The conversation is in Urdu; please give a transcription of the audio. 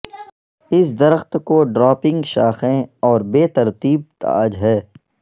اس درخت کو ڈراپنگ شاخیں اور بے ترتیب تاج ہے